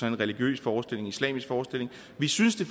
en religiøs forestilling en islamisk forestilling vi synes det